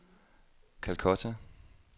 Calcutta